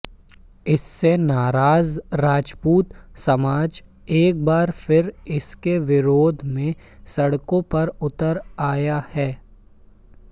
इससे नाराज राजपूत समाज एक बार फिर इसके विरोध में सड़कों पर उतर आया है